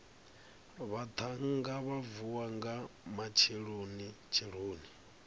vhaṱhannga vha vuwa nga matshelonitsheloni